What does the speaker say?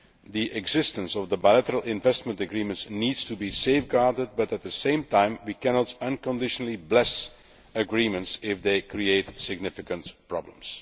The existence of the bilateral investment agreements needs to be safeguarded but, at the same time, we cannot unconditionally bless agreements if they create significant problems.